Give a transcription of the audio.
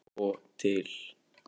Svo til?